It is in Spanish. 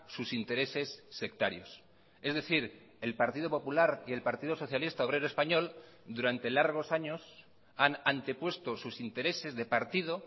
sus intereses sectarios es decir el partido popular y el partido socialista obrero español durante largos años han antepuesto sus intereses de partido